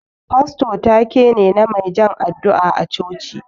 Fasto ta-ke ne, na mai jan addu'a a coci.